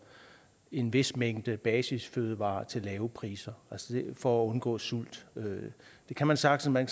en vis mængde basisfødevarer til lave priser for at undgå sult det kan man sagtens man